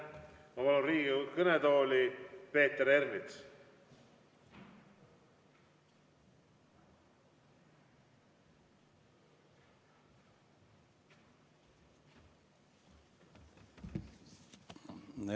Ma palun Riigikogu kõnetooli Peeter Ernitsa!